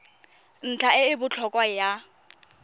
ntlha e e botlhokwa ya